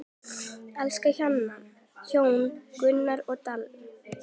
Elsku hjón, Gunnar og Dalla.